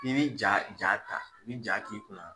N'i b'i ja ja ta n'i ja t'i kunna